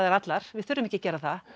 allar við þurfum ekki að gera það